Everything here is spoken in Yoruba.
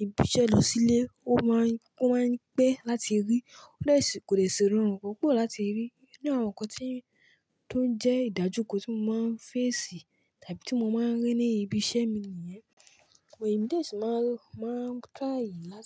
ibi iṣẹ́ lọ sílé. Ó máa ń, ó máa ń pẹ́ láti rí. Ó de sì, kò dè ṣi rọrùn púpọ̀ láti rí. Ni àwọn nǹkan tí ó ń jẹ́ ìdájúkọ tí mo máa ń fẹ́ sì tàbí tí mo máa ń rí ní ibi iṣẹ́ mi nìyẹn. Èmi dè ṣì máa ń rọ, máa ń try láti.